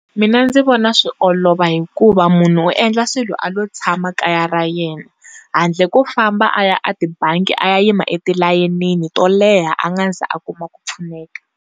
Mina ndzi vona swi olova hikuva munhu u endla swilo a lo tshama kaya ra yena handle ko famba a ya a tibangi a ya yima etilayenini to leha a nga se za a kuma ku pfuneka.